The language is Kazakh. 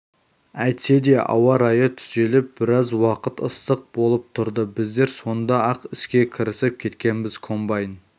әйтсе де ауа райы түзеліп біраз уақыт ыстық болып тұрды біздер сонда-ақ іске кірісіп кеткенбіз комбайн